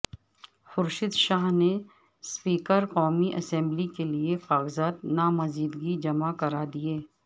خورشید شاہ نے سپیکر قومی اسمبلی کیلئے کاغذات نامزدگی جمع کرا دیے